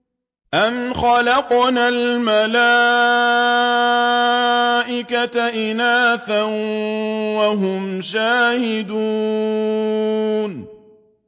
أَمْ خَلَقْنَا الْمَلَائِكَةَ إِنَاثًا وَهُمْ شَاهِدُونَ